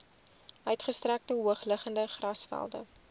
uitgestrekte hoogliggende grasvelde